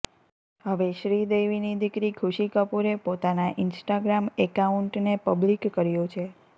હવે શ્રીદેવીની દીકરી ખુશી કપૂરે પોતાના ઇન્સ્ટાગ્રામ એકાઉન્ટને પબ્લિક કર્યું છે